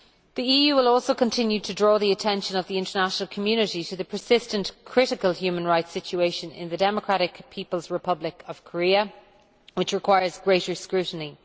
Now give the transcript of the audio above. The EU will also continue to draw the attention of the international community to the persistent critical human rights situation in the Democratic People's Republic of Korea which requires greater scrutiny.